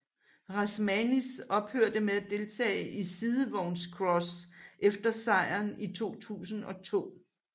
Rasmanis ophørte med at deltage i sidevognscross efter sejren i 2002